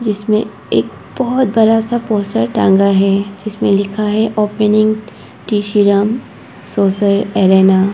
इसमें एक बहोत बड़ा सा पोस्टर टंगा है जिसमें लिखा है ओपनिंग टी_सी_यम सोसर अरेना ।